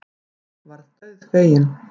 Örn varð dauðfeginn.